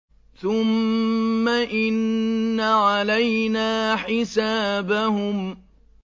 ثُمَّ إِنَّ عَلَيْنَا حِسَابَهُم